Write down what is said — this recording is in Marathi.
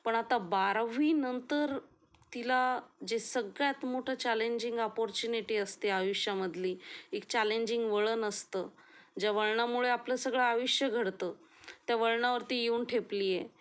पण आता बारावी नंतर तिला जे सगळ्यात मोठं चॅलेंजिंग अपॉर्च्युनिटी असते आयुष्यामधली, एक चॅलेंजिंग वळण असतं ज्या वळणामुळे आपलं सगळं आयुष्य घडतं त्या वळणावरती येऊन ठेपलीये